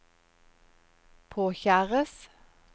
påkjæres